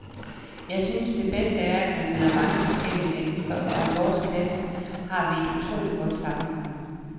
Jeg synes at det bedste er at man møder mange forskellige mennesker, og i vores klasse har vi et utroligt godt sammenhold.